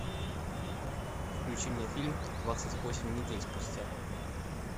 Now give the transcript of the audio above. включи мне фильм двадцать восемь недель спустя